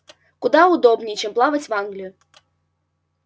куда удобнее чем плавать в англию